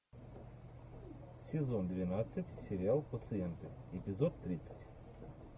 сезон двенадцать сериал пациенты эпизод тридцать